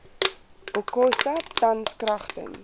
okosa tans kragtens